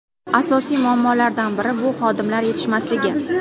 Asosiy muammolardan biri bu xodimlar yetishmasligi.